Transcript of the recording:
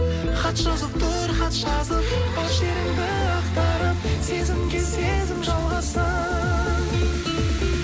хат жазып тұр хат жазып бар шеріңді ақтарып сезімге сезім жалғассын